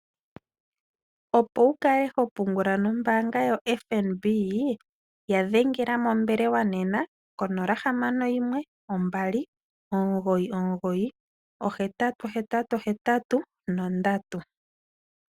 Opo wu kale ho pungula nombaanga yaFNB ya dhengela mombelewa nena ko 0612998883.